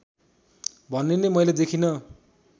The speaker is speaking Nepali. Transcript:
भन्ने नै मैले देखिँन